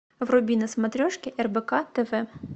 вруби на смотрешке рбк тв